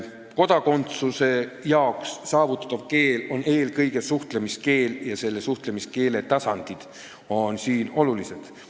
Kodakondsuse saamiseks on eelkõige vaja suhtlemiskeelt ja selle suhtlemiskeele tasandid on siin olulised.